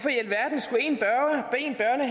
at